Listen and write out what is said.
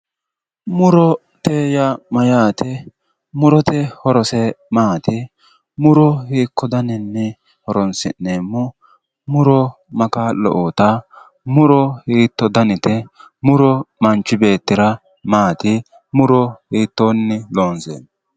Murote yaa mayyaate? murote horose maati? muro hiikko daninni horonsi'neemmo? muro ma kaa'lo uuyitawo? muro hiitto danite? muro manchi beettira maati? muro hiittoonni loonseemmo.